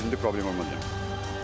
Uşaq bizdə problem olmaz yəni.